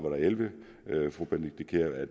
og elleve at fru benedikte kiær